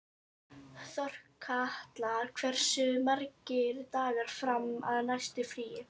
Þorkatla, hversu margir dagar fram að næsta fríi?